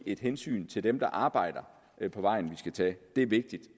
et hensyn til dem der arbejder på vejen vi skal tage det er vigtigt